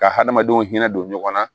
Ka hadamadenw hinɛ don ɲɔgɔn na